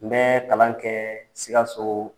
N bɛɛ kalan kɛɛ Sikassoo.